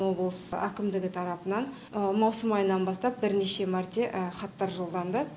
облыс әкімдігі тарапынан маусым айынан бастап бірнеше мәрте хаттар жолданды